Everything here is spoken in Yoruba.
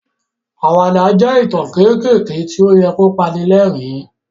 Àwàdà jẹ́ ìtàn kéékèèké tí ó yẹ kí ó pani lẹ́rìn-ín.